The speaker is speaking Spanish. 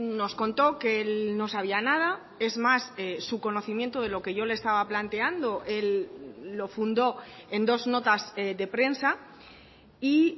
nos contó que él no sabía nada es más su conocimiento de lo que yo le estaba planteando lo fundó en dos notas de prensa y